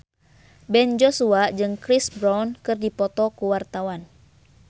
Ben Joshua jeung Chris Brown keur dipoto ku wartawan